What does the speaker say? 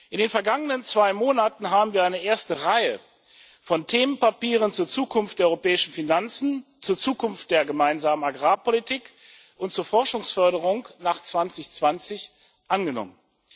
In den vergangenen zwei Monaten haben wir eine erste Reihe von Themenpapieren zur Zukunft der europäischen Finanzen, zur Zukunft der Gemeinsamen Agrarpolitik und zur Forschungsförderung nach 2020 angenommen.